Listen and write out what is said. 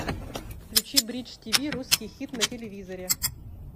включи бридж тв русский хит на телевизоре